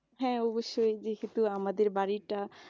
হ্যাঁ, অবশ্যই যেহেতু আমাদের বাড়িটা